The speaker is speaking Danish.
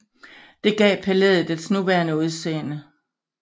Det gav palæet dets nuværende udseende